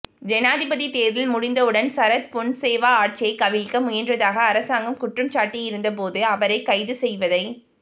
ஜனாதிபதித் தேர்தல் முடிந்தவுடன் சரத் பொன்சேகா ஆட்சியைக் கவிழ்க்க முயன்றதாக அரசாங்கம் குற்றம் சாட்டியிருந்த போதும் அவரைக் கைது செய்வதைத்